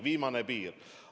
Viimane piir!